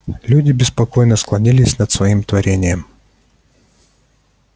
люди беспокойно склонились над своим творением